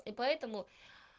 и поэтому